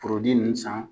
Forodi nunnu san